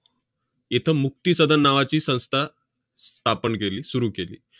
इथं मुक्ती सदन नावाची संस्था स्थापन केली, सुरु केली.